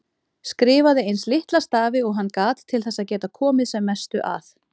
Skrifaði eins litla stafi og hann gat til þess að geta komið sem mestu að.